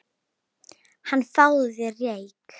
Hana, fáðu þér reyk